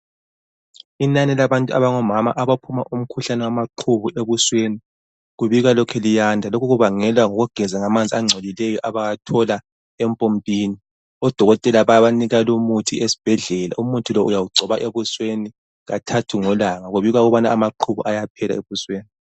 Inani labantu abangomama abaphuma umkhuhlane wamaqhubu ebusweni. Kubika lokhe liyanda. Lokhu kubangelwa ngokugeza ngamanzi angcolileyo abawathola empompini. Odokotela bayabanika lumuthi esibhedlela. Umuthi lowu uyawugcoba ebusweni kathathu ngelanga, kubika ukubana amaqhubu ayaphela ebusweni.